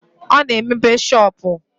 Ọ na-emepe shọopụ?